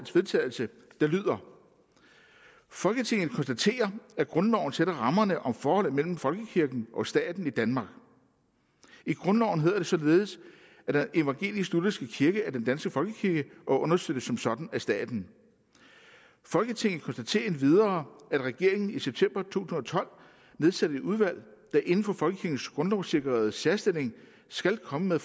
vedtagelse folketinget konstaterer at grundloven sætter rammerne om forholdet mellem folkekirken og staten i danmark i grundloven hedder det således at den evangelisk lutherske kirke er den danske folkekirke og understøttes som sådan af staten folketinget konstaterer endvidere at regeringen i september to tusind og tolv nedsatte et udvalg der inden for folkekirkens grundlovssikrede særstilling skal komme med